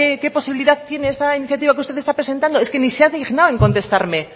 qué posibilidad tiene esta iniciativa que usted está presentado es que ni se dignado en contestarme